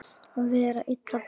Að vera illa brugðið